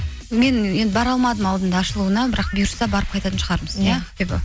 мен енді бара алмадым алдында ашылуына бірақ бұйырса барып қайтатын шығармыз иә ақбибі